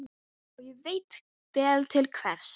Og hélt svo ferðinni allan þann dag og næstu nótt.